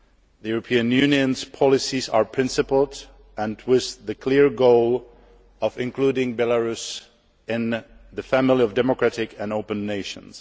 The European Union's policies are principled and have the clear goal of including Belarus in the family of democratic and open nations.